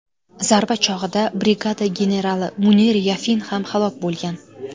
Zarba chog‘ida brigada generali Munir Yafin ham halok bo‘lgan.